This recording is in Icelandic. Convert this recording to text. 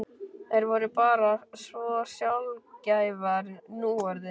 Þær voru bara svo sjaldgæfar núorðið.